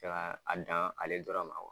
Ka a dan ale dɔrɔn ma